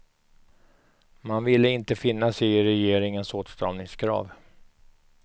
Man ville inte finna sig i regeringens åtstramningskrav.